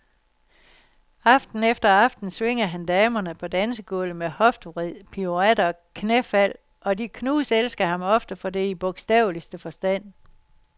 Aften efter aften svinger han damerne på dansegulvet med hoftevrid, piruetter og knæfald, og de knuselsker ham ofte for det i bogstaveligste forstand.